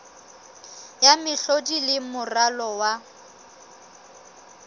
ya mehlodi le moralo wa